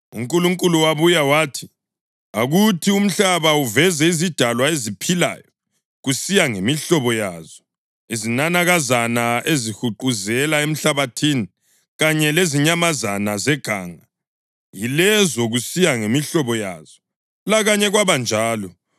UNkulunkulu wabuya wathi, “Akuthi umhlaba uveze izidalwa eziphilayo kusiya ngemihlobo yazo: izinanakazana ezihuquzela emhlabathini, kanye lezinyamazana zeganga, yilezo kusiya ngemihlobo yazo.” Lakanye kwabanjalo.